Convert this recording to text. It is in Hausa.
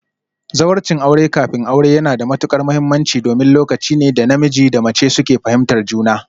Zawarcin aure kafin aure yana da matuƙar mahimmanci domin lokaci ne da namiji da mace suke fahimtar juna